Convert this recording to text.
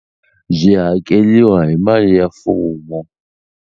Byi hakeliwa hi mali ya mfumo.